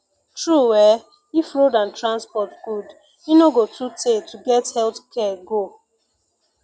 true eh if road and transport good e no go too tey to get health care go